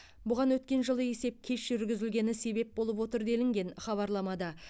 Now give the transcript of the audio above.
бұған өткен жылы есеп кеш жүргізілгені себеп болып отыр делінген хабарламада